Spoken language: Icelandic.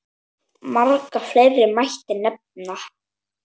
Marga fleiri mætti nefna.